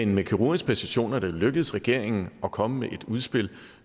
med kirurgisk præcision er det jo lykkedes regeringen at komme med et udspil